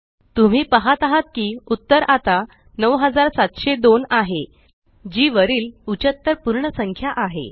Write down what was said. तुम्ही पाहत आहात की उत्तर आता 9702आहे जी वरील उचत्तर पूर्ण संख्या आहे